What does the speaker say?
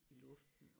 I luften